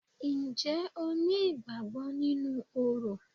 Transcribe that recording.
Ǹjẹ́ o ní ìgbàgbọ nínú orò?